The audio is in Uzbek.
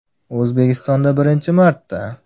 O‘zbekistonda birinchi marta!